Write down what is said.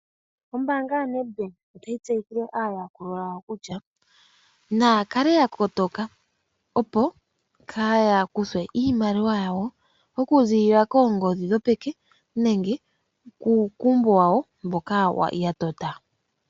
Ombaanga yo NedBank otayi tseyithile aayakulwa yawo kutya naya kale ya kotoka, opo kaya kuthwe iimaliwa yawo okuzilila koongodhi dhopeke, nenge kuumbo wawo mboka ya tota.